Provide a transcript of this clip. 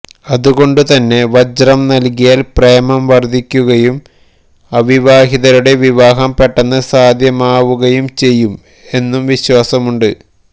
അത്കൊണ്ടുതന്നെ വജ്രം നൽകിയാൽ പ്രേമം വർദ്ധിക്കുകയും അവിവാഹിതരുടെ വിവാഹം പെട്ടെന്ന് സാധ്യമാവു കയും ചെയ്യും എന്നും വിശ്വാസം ഉണ്ട്